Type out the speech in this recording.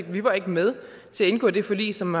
vi var ikke med til at indgå det forlig som